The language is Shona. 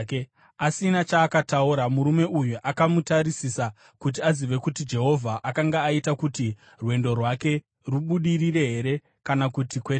Asina chaakataura, murume uyu akamutarisisa kuti azive kuti Jehovha akanga aita kuti rwendo rwake rubudirire here kana kuti kwete.